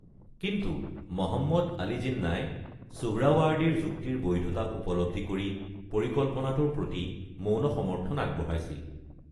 কিন্তু মহম্মদ আলী জিন্নাই সুহৰাৱাৰ্ডীৰ যুক্তিৰ বৈধতা উপলব্ধি কৰি পৰিকল্পনাটোৰ প্ৰতি মৌন সমৰ্থন আগবঢ়াইছিল।